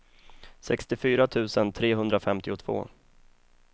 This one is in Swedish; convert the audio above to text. sextiofyra tusen trehundrafemtiotvå